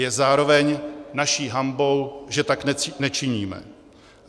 Je zároveň naší hanbou, že tak nečiníme.